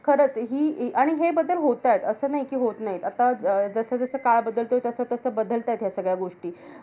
खरंच हि आणि हे बदल होतायेत. असं नाही कि होतं नाही. आता अं जसं जसं काळ बदलतोय, तसा तसा बदलतायेत ह्या सगळ्या गोष्टी.